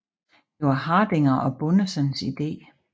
Det var Hardinger og Bundensens ide